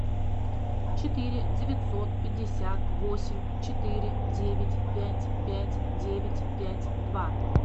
четыре девятьсот пятьдесят восемь четыре девять пять пять девять пять два